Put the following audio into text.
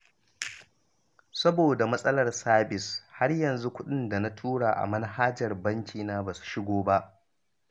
Saboda matsalar sabis, har yanzu kuɗin da na tura ta manhajar bakina ba su shigo ba